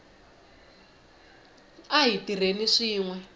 a hi tirheni swin we